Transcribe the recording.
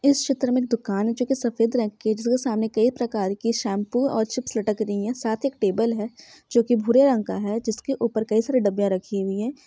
इस चित्र में दुकान है जो की सफेद रंग की है जैसे कि सामने कई प्रकार के शैंपू और चिप्प लटक रही है साथी एक टेबुल है जो की भूरे रंग का है जिसके ऊपर कई सारी डब्बियाँ रखी गई है।